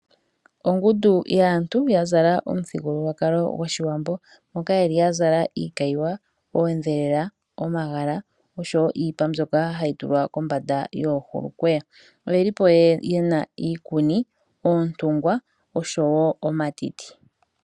Ongundu yaantu ya zala omuthigululwakalo gOshiwambo, moka ye li ya zala iikayiwa, oondhelela, omagala, osho wo iipa mbyoka hayi tulwa kombanda yoohulukweya. Oye li po ye na iikuni, oontungwa, osho wo omatiti.